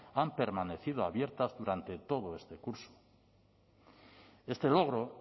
han permanecido abiertas durante todo este curso este logro